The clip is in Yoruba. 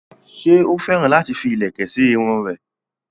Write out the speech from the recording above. ṣé ó féràn láti fi ìlẹ̀kẹ̀ sí irun rẹ̀?